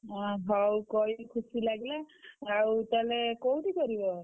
ଓହୋ! ହଉ କହିଲୁ ଖୁସି ଲାଗିଲା